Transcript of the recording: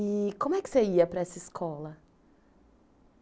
E como é que você ia para essa escola?